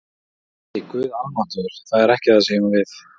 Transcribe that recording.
Nei, Guð almáttugur, það er ekki það sem ég á við